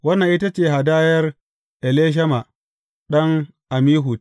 Wannan ita ce hadayar Elishama ɗan Ammihud.